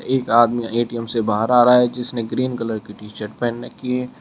एक आदमी ए_टी_एम से बाहर आ रहा है जिसने ग्रीन कलर की टी शर्ट पहन रखी है।